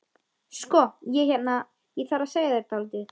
Sko. ég hérna. ég þarf að segja þér dálítið.